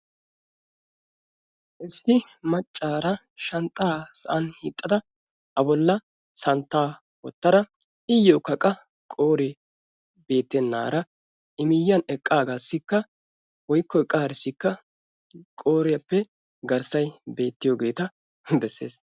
Issi maccaara shanxxaa sa'an hiixxada a bolla santtaa wottara iyyokka qa qooree beettennaara i miyyiyan eqqaagaassikka woykko eqqaarissikka qooriyappe garssay beettiyogeeta hi bessees.